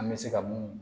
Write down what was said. An bɛ se ka mun